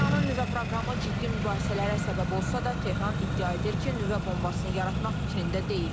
İranın nüvə proqramı ciddi mübahisələrə səbəb olsa da, Tehran iddia edir ki, nüvə bombasın yaratmaq fikrində deyil.